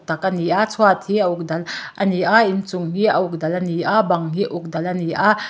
tak ani a chhuat hi a uk dal ani a inchung hi a uk dal ani a bang hi uk dal ani a.